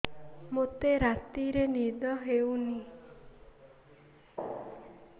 ମୋତେ ରାତିରେ ନିଦ ହେଉନି